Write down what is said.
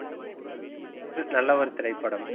நல்ல ஒரு திரைப்படம்